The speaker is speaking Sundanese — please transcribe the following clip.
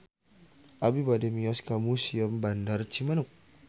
Abi bade mios ka Museum Bandar Cimanuk